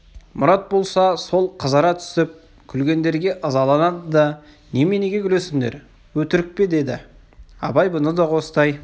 мұрат болса сол қызара түсіп күлгендерге ызаланды да неменеге күлесіңдер өтірік пе деді абай бұны қостай